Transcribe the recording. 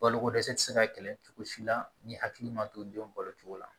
Balokodɛsɛ tɛ se ka kɛlɛ cogo si la ni hakili ma to denw balo cogo la